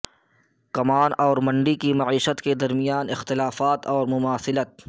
کمان اور منڈی کی معیشت کے درمیان اختلافات اور مماثلت